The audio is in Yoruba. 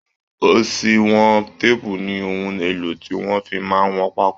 oṣùwọn téèpù ni ohun èlò tí wọ́n fi máa ń wọn pákó